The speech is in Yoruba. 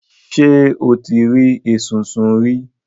Ṣé o ti rí esunsun rí?